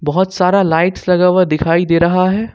बहुत सारा लाइट्स लगा हुआ दिखाई दे रहा है।